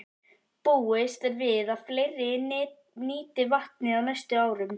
Búist er við að fleiri nýti vatnið á næstu árum.